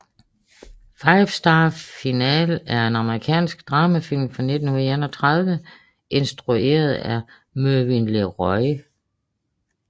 Five Star Final er en amerikansk dramafilm fra 1931 instrueret af Mervyn LeRoy